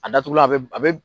A datugu la a bɛ a bɛ